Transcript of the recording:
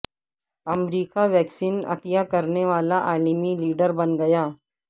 امریکہ vaccine عطیہ کرنے والا عالمی لیڈر بن گیا